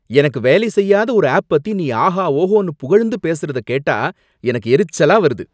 எனக்கு வேலை செய்யாத ஒரு ஆப் பத்தி நீ ஆஹா ஓஹோன்னு புகழ்ந்து பேசறத கேட்டா எனக்கு எரிச்சலா வருது.